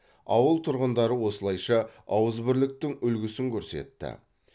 ауыл тұрғындары осылайша ауызбірліктің үлгісін көрсетті